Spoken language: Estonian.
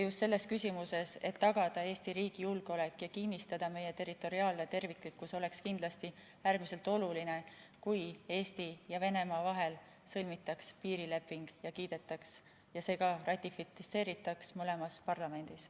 Just selleks, et tagada Eesti riigi julgeolek ja kinnistada meie territoriaalne terviklikkus, oleks kindlasti äärmiselt oluline, kui Eesti ja Venemaa vahel sõlmitaks piirileping ja see ka ratifitseeritaks mõlemas parlamendis.